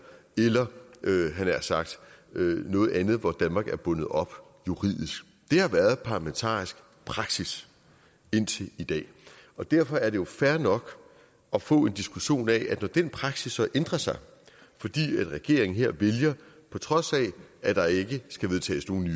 eller havde jeg nær sagt noget andet hvor danmark er bundet op juridisk det har været parlamentarisk praksis indtil i dag derfor er det jo fair nok at få en diskussion af når den praksis så ændrer sig fordi en regering her på trods af at der ikke skal vedtages nogen